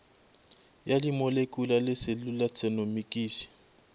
ya dimolekule le selula tšenomikisi